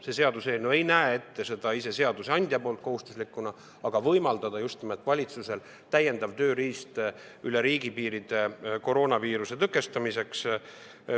See seaduseelnõu ei näe ette seadusandja poolt kohustuslikuna, vaid anda just nimelt valitsusele täiendav tööriist üle riigipiiride liikumisel koroonaviiruse tõkestamiseks.